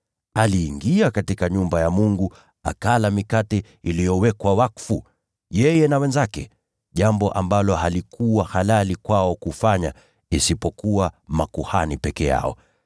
Aliingia katika nyumba ya Mungu, akala mikate iliyowekwa wakfu, yeye na wenzake, jambo ambalo halikuwa halali kwao kufanya, isipokuwa makuhani peke yao.